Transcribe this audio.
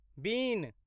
bean